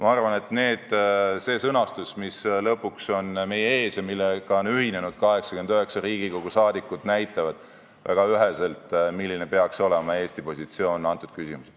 Ma arvan, et see sõnastus, mis nüüd lõpuks on meie ees ja millega on ühinenud 89 Riigikogu liiget, näitab väga üheselt, milline peaks olema Eesti positsioon antud küsimuses.